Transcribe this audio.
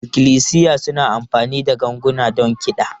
Ikklisiya suna amfani da ganguna don kiɗa.